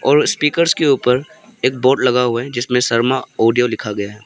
और स्पीकर्स के ऊपर एक बोर्ड लगा हुआ है जिस में शर्मा ऑडियो लिखा गया है।